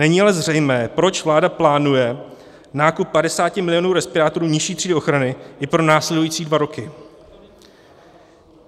Není ale zřejmé, proč vláda plánuje nákup 50 milionů respirátorů nižší třídy ochrany i pro následující dva roky."